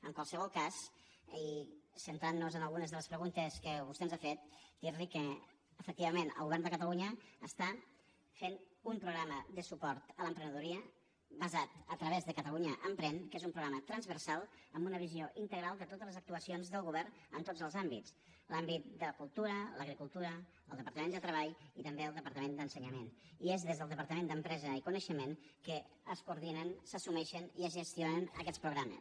en qualsevol cas i centrant nos en algunes de les preguntes que vostè ens ha fet dir li que efectivament el govern de catalunya està fent un programa de suport a l’emprenedoria basat a través de catalunya emprèn que és un programa transversal amb una visió integral de totes les actuacions del govern en tots els àmbits l’àmbit de la cultura l’agricultura el departament de treball i també el departament d’ensenyament i és des del departament d’empresa i coneixement que es coordinen s’assumeixen i es gestionen aquests programes